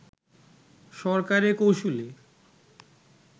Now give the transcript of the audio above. সরকারি কৌঁসুলি